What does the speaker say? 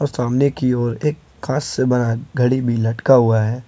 सामने की ओर एक कांच से बना घड़ी भी लटका हुआ है।